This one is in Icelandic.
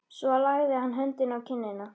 Svo lagði hann höndina á kinnina.